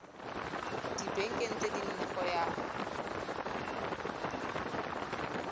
dibekeng tse nne go ya